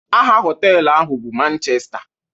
Aha hotelu ahụ bụ Manchesta.